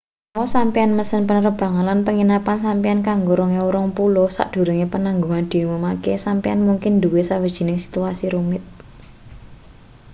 menawa sampeyan mesen penerbangan lan penginapan sampeyan kanggo 2020 sadurunge penangguhan diumumake sampeyan mungkin duwe sawijining situasi rumit